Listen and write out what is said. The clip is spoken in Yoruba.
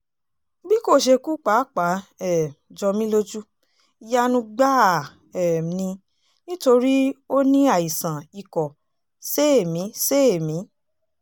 bí kò ṣe kú pàápàá um jọ mí lójú ìyanu gbáà um ni nítorí ó ní àìsàn ikọ̀ séèémí-séèémí